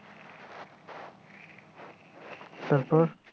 তারপর